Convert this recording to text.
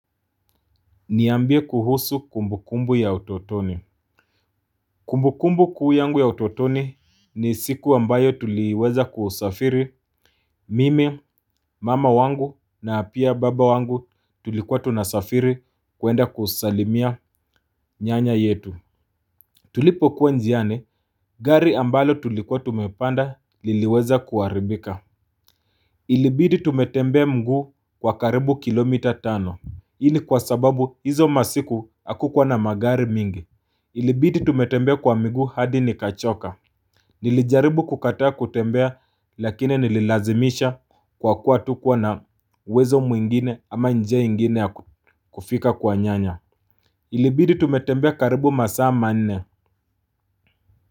Niambie kuhusu kumbukumbu ya utotoni kumbukumbu kuu yangu ya utotoni ni siku ambayo tuliweza kusafiri mimi mama wangu na pia baba wangu tulikuwa tunasafiri kuenda kusalimia nyanya yetu. Tulipokuwa njiani gari ambalo tulikuwa tumepanda liliweza kuharibika. Ilibidi tumetembea mguu kwa karibu kilomita tano. Ili kwa sababu hizo masiku hakukuwa na magari mingi. Ilibidi tumetembea kwa miguu hadi nikachoka. Nilijaribu kukataa kutembea lakini nililazimisha kwa kuwa hatukuwa na uwezo mwingine ama njia ingine kufika kwa nyanya. Ilibidi tumetembea karibu masaa manne.